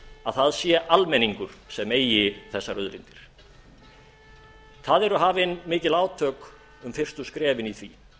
að það sé almenningur sem eigi þessar auðlindir það eru hafin mikil átök um fyrstu skrefin í því